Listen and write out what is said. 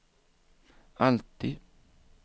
alltid